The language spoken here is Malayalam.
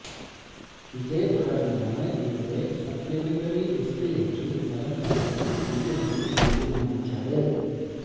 ഇതേത്തുടര്ന്നാണ് ഇവരെ സപ്ലിമെന്ററി ലിസ്റ്റിലേക്ക് തരംതാഴ്ത്താന് പി എസ് സി തീരുമാനിച്ചത്